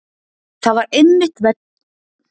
Það var einmitt vegna ónógs undirbúnings.